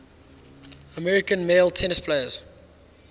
american male tennis players